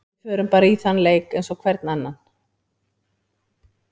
Við förum bara í þann leik eins og hvern annan.